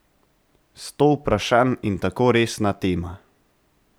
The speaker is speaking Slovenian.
Sto vprašanj in tako resna tema!